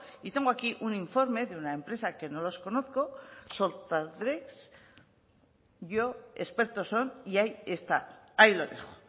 y tengo aquí un informe de una empresa que no los conozco yo expertos son y ahí está ahí lo dejo